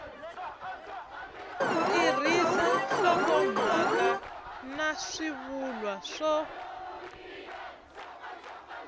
tirhisa nhlokomhaka na swivulwa swo